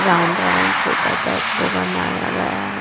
Round round छोटा सा वो बनाया गया है।